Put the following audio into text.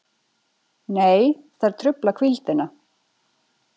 Nei, þær trufla hvíldina.